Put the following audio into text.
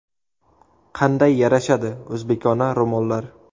Qanday yarashadi o‘zbekona ro‘mollar.